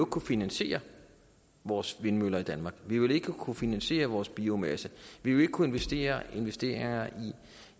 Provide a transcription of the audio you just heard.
kunne finansiere vores vindmøller i danmark vi ville ikke kunne finansiere vores biomasse vi ville ikke kunne investere investere